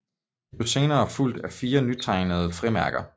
De blev senere fulgt af 4 nytegnede frimærker